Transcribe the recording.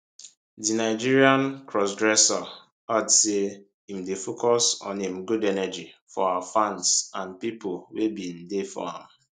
di nigerian crossdresser add say im dey focus on im good energy for her fans and pipo wey bin dey for am